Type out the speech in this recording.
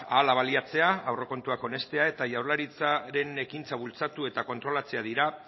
hala baliatzea aurrekontuak onestea eta jaurlaritzaren ekintza bultzatu eta kontrolatzea dira